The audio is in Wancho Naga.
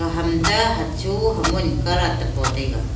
ham ta hacho hamon colord e pataiga.